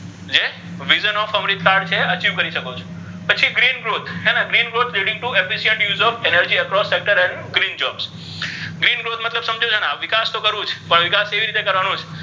vision of Amritsar છે તે achieve કરી શકો છો પછી green growth હે ને green growth green growth green growth મતલબ તો સમજો છો ને વિકાસ તો કરવો છે પણ વિકાસ કેવી રીતે કરવાનો છે.